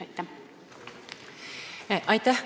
Aitäh!